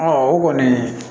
o kɔni